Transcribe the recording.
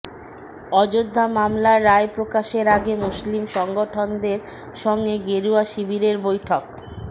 অযোধ্যা মামলার রায় প্রকাশের আগে মুসলিম সংগঠনদের সঙ্গে গেরুয়া শিবিরের বৈঠক